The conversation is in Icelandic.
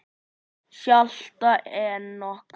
Hjalti Enok.